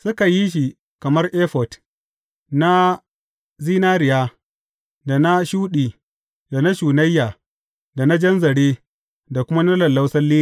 Suka yi shi kamar efod, na zinariya, da na shuɗi, da na shunayya, da na jan zare, da kuma na lallausan lilin.